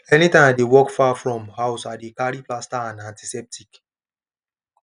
anytime i dey work far from house i dey carry plaster and antiseptic